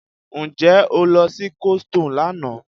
Ǹjẹ́ o lọ sí coldstone lánàá?